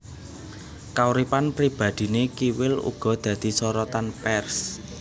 Kauripan pribadhiné Kiwil uga dadi sorotan pers